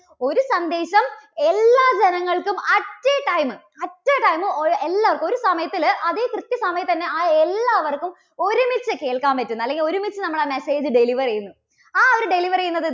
ഒരു സന്ദേശം എല്ലാ ജനങ്ങൾക്കും at a time, at a time എ~എല്ലാർക്കും. ഒരു സമയത്തില്, അതേ കൃത്യസമയത്തുതന്നെ ആ എല്ലാവർക്കും ഒരുമിച്ച് കേൾക്കാൻ പറ്റുന്ന അല്ലെങ്കിൽ ഒരുമിച്ച് നമ്മുടെ message deliver ചെയ്യുന്ന ആ ഒരു deliver ചെയ്യുന്ന